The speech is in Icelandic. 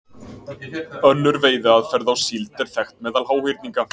Önnur veiðiaðferð á síld er þekkt meðal háhyrninga.